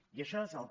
i això és el que